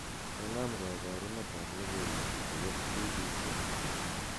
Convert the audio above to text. konon koborunet ab logoiwek koyop b.b.c